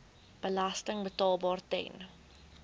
belasting betaalbaar ten